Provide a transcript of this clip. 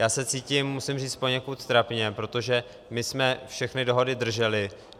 Já se cítím, musím říct, poněkud trapně, protože my jsme všechny dohody drželi.